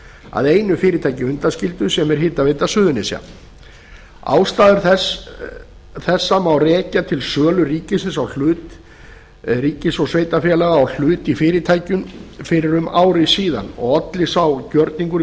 að einu fyrirtæki undanskildu sem er hitaveita suðurnesja ástæður þessa má rekja til sölu ríkis og sveitarfélaga á hlut í fyrirtækinu fyrir um ári síðan og olli sá gjörningur